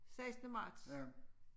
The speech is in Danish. Sekstende marts